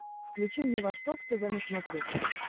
включи мне восток тв на смотрешке